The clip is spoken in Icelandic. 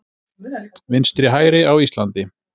Vinstri-hægri á Íslandi